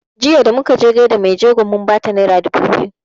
Jiya da muka je gaida mai jego mun bata naira dubu biyu